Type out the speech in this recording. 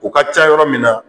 O ka ca yɔrɔ min na